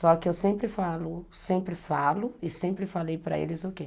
Só que eu sempre falo, sempre falo e sempre falei para eles o quê?